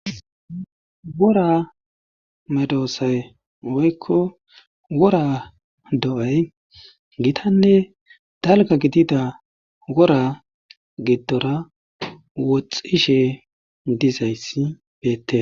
Wora meedosay woykko wora do'ay gitanne dalgga gidida wora gidora woxxishe dizayssi beetees.